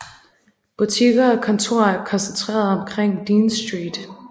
Butikker og kontorer er koncentreret omkring Dean Street